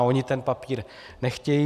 A oni ten papír nechtějí.